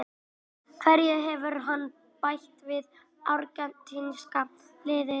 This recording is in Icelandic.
Hverju hefur hann bætt við argentínska liðið?